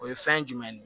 O ye fɛn jumɛn ye